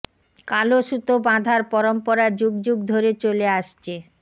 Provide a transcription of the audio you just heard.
কালো সুতো বাধার পরম্পরা যুগ যুগ ধরে চলে আসছে